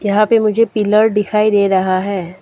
यहां पे मुझे पिलर दिखाई दे रहा है।